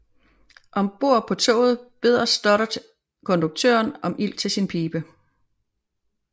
Om bord på toget beder Stoddard konduktøren om ild til sin pibe